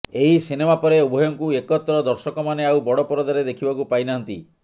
ଏହି ସିନେମା ପରେ ଉଭୟଙ୍କୁ ଏକତ୍ର ଦର୍ଶକମାନେ ଆଉ ବଡ଼ ପରଦାରେ ଦେଖିବାକୁ ପାଇ ନାହାନ୍ତି